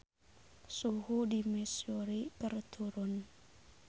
Suhu di Missouri keur turun